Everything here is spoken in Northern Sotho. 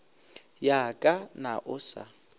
ya ka na o sa